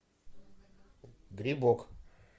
грибок